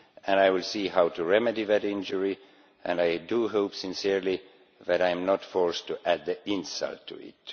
I will see how to remedy that injury, and I do hope sincerely that I am not forced to add insult to it.